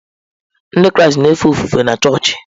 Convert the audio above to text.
Ndị Kraịst na-efe ofufe na chọọchị.